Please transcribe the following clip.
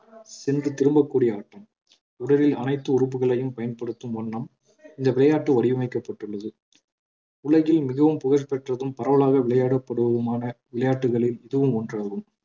சென்று திரும்பக்கூடிய ஆட்டம் உடலில் அனைத்து உறுப்புகளையும் பயன்படுத்தும் வண்ணம் இந்த விளையாட்டு வடிவமைக்கப்பட்டுள்ளது உலகில் மிகவும் புகழ்பெற்றதும் பரவலாக விளையாடப்படுவதுமான விளையாட்டுகளில் இதுவும் ஒன்றாகும்